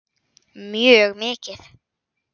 Mjög mikið.